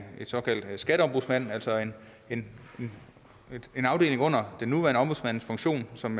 såkaldt skatteombudsmand altså en afdeling under den nuværende ombudsmandsfunktion som